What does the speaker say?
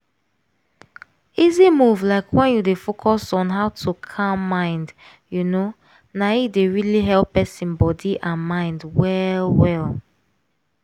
easy move like when you dey focus on how to calm mind you know na e dey really help person body and mind well well.